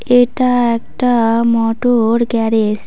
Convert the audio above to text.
এটা একটা motor garage.